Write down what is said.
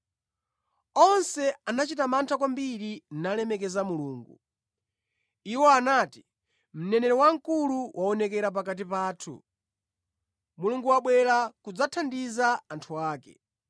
Onse anachita mantha kwambiri nalemekeza Mulungu. Iwo anati, “Mneneri wamkulu waonekera pakati pathu. Mulungu wabwera kudzathandiza anthu ake.”